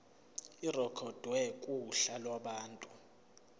irekhodwe kuhla lwabantu